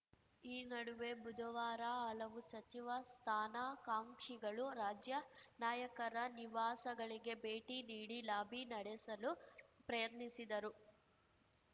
ಈ ನಡುವೆ ಬುಧವಾರ ಹಲವು ಸಚಿವ ಸ್ಥಾನಾಕಾಂಕ್ಷಿಗಳು ರಾಜ್ಯ ನಾಯಕರ ನಿವಾಸಗಳಿಗೆ ಭೇಟಿ ನೀಡಿ ಲಾಬಿ ನಡೆಸಲು ಪ್ರಯತ್ನಿಸಿದರು